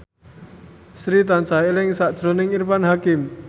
Sri tansah eling sakjroning Irfan Hakim